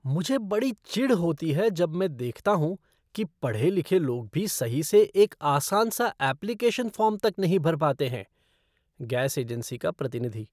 मुझे बड़ी चिढ़ होती है जब मैं देखता हूँ कि पढ़े लिखे लोग भी सही से एक आसान सा एप्लिकेशन फ़ॉर्म तक नहीं भर पाते हैं। गैस एजेंसी का प्रतिनिधि